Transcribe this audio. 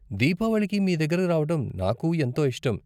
దీపావళికి మీ దగ్గరకి రావటం నాకూ ఎంతో ఇష్టం.